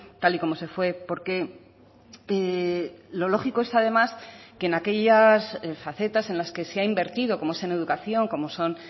tal y como se fue porque lo lógico es además que en aquellas facetas en las que se ha invertido como es en educación como son